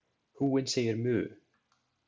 Kúin segir „mu“.